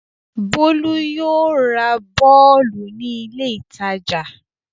Bólú yóò ra bọ́ọ́lù ní ilé-ìtajà.